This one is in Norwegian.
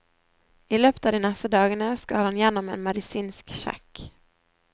I løpet av de neste dagene skal han gjennom en medisinsk sjekk.